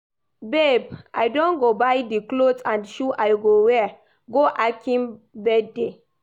Babe, I don go buy the cloth and shoe I go wear go Akin birthday